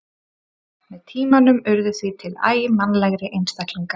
Með tímanum urðu því til æ mannlegri einstaklingar.